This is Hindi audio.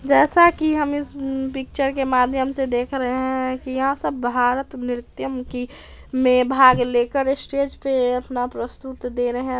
जैसा कि हम इस पिक्चर के माध्यम से देख रहे हैं कि यह सब भारत नृत्यम की में भाग लेकर स्टेज पे अपना प्रस्तुत दे रहे हैं |